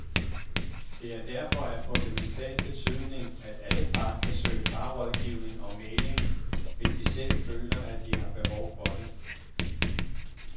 Det er derfor af fundamental betydning, at alle par kan søge parrådgivning og mægling, hvis de selv føler, at de har behov for det.